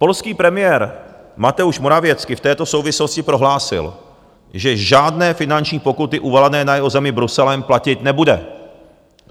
Polský premiér Mateusz Morawiecki v této souvislosti prohlásil, že žádné finanční pokuty uvalené na jeho zemi Bruselem platit nebude.